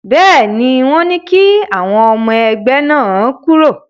Bẹ́ẹ̀ ni, wọ́n ní kí àwọn ọmọ ẹgbẹ́ náà kúrò.